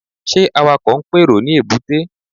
Ṣé Awakọ̀ ń pèrò ní èbúté?